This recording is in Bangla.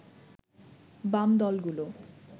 বাম দলগুলো